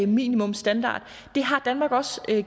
minimumsstandard det har danmark også